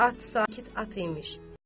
At sakit at imiş.